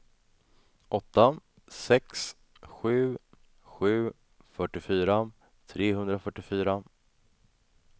åtta sex sju sju fyrtiofyra trehundrafyrtiofyra